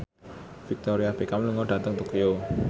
Victoria Beckham lunga dhateng Tokyo